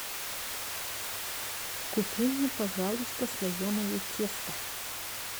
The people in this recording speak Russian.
купи мне пожалуйста слоеное тесто